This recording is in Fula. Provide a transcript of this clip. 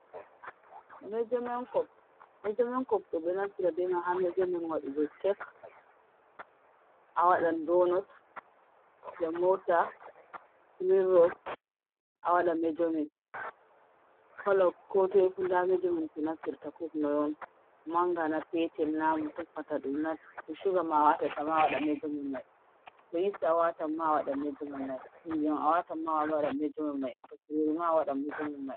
Meejomen kop ɗo'o ɓe ɗo nafira bee mai haa meejomen, waɗugo kek, a waɗan doonot, samoosa menos, a waɗan meejomen, kolo koo too fu ndaa meejomen ko naffirta kop noy on mangana, peetel na ko tokkata ɗum na, to shuga a waatata ma a waɗan meejomen mai, to is ma a waatata ma, a waɗan meejomen mai, ɗun ndiyam a waatata ma a waɗan a waɗan meejomen mai, to jumuri ma a waɗan meejomen mai.